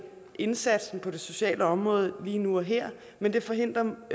indsatsen på det sociale område lige nu og her men det forhindrer